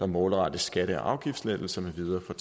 målrettes skatte og afgiftslettelser med videre for